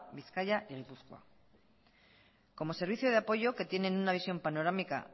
bizkaia y gipuzkoa como servicio de apoyo que tienen una visión panorámica